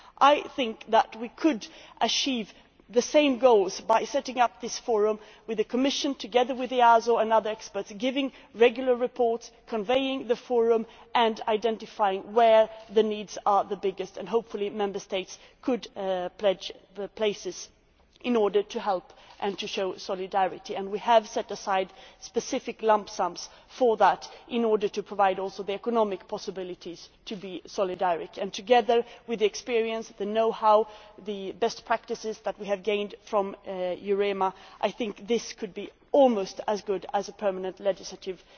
I think we could achieve the same goals by setting up this forum with the Commission, together with EASO and other experts, giving regular reports, convening the forum and identifying where the needs are the biggest, and hopefully Member States could pledge the places in order to help and show solidarity. We have set aside specific lump sums for that in order to provide also the economic possibilities for solidarity, and together with the experience, the know how and the best practices which we have gained from EUREMA, I think this could be almost as good as a permanent legislative